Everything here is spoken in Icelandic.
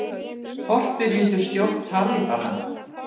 Þorpið lýtur stjórn Talíbana